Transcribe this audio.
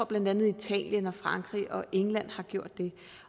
blandt andet italien frankrig og england har gjort det